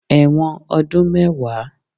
Ẹ̀wọ̀n ọdún mẹ́wàá